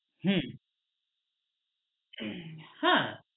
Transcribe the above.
হম হ্যাঁ